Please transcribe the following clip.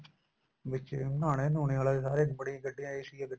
ਵਿੱਚ ਈ ਨਹਾਨੇ ਨਹੁਨੇ ਵਾਲੇ ਬੜੀਆਂ ਗੱਡੀਆਂ AC ਗਡੀਆਂ ਹੁੰਨੀਏ